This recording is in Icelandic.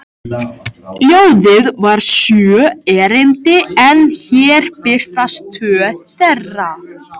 Ljóðið var sjö erindi en hér birtast tvö þeirra